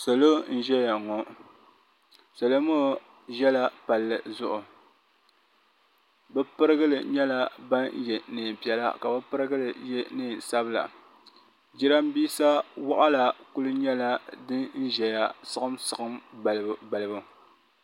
salo n ʒɛya ŋɔ salo maa za pali zuɣ' bi pʋrigili nyɛla yɛla nɛnpiɛlla ka lɛɛ yɛ nɛnsabila jarinibɛsa n nyɛla din ʒɛya sigim sigim balibu